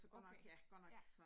Okay, ja